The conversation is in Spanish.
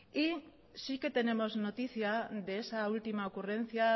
sí que tenemos noticia de esa última ocurrencia